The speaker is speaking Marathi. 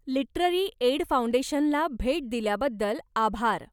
लिटररी एड फाऊंडेशनला भेट दिल्याबद्दल आभार.